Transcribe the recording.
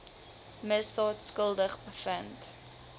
misdaad skuldig bevind